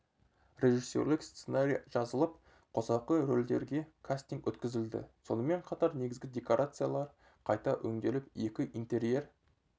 режиссерлік сценарий жазылып қосалқы рөлдерге кастинг өткізілді сонымен қатар негізгі декорациялар қайта өңделіп екі интерьер